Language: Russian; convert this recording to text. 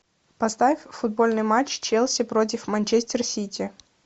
поставь футбольный матч челси против манчестер сити